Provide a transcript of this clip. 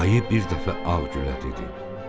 Ayı bir dəfə Ağgülə dedi: